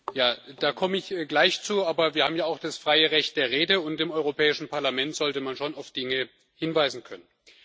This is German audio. Ja, da komme ich gleich zu, aber wir haben ja auch das freie Recht der Rede, und im Europäischen Parlament sollte man schon auf Dinge hinweisen können.